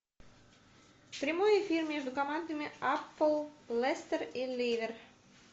прямой эфир между командами апл лестер и ливер